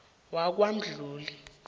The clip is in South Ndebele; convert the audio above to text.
wakwamdluli